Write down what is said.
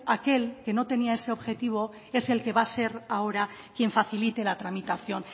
aquel que no tenía ese objetivo es el que va a ser el que ahora quien facilite la tramitación